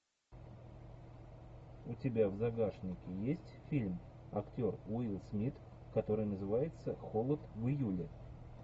у тебя в загашнике есть фильм актер уилл смит который называется холод в июле